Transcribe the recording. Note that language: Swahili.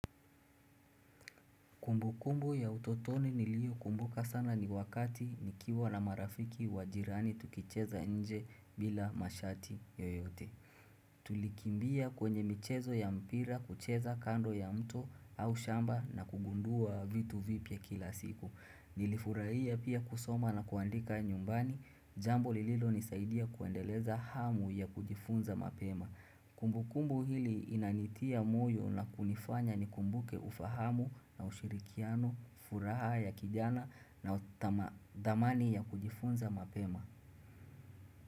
Kumbukumbu ya utotoni nilio kumbuka sana ni wakati nikiwa na marafiki wa jirani tukicheza nje bila mashati yoyote. Tulikimbia kwenye michezo ya mpira kucheza kando ya mto au shamba na kugundua vitu vipi ya kila siku. Nilifurahia pia kusoma na kuandika nyumbani, jambo lililo nisaidia kuendeleza hamu ya kujifunza mapema. Kumbu kumbu hili inanitia moyo na kunifanya ni kumbuke ufahamu na ushirikiano, furaha ya kijana na damani ya kujifunza mapema.